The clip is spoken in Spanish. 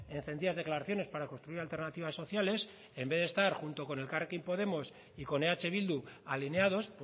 encendidas declaraciones para construir alternativas sociales en vez de estar junto con elkarrekin podemos y con eh bildu alineados